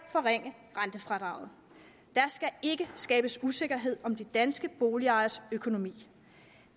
at forringe rentefradraget der skal ikke skabes usikkerhed om de danske boligejeres økonomi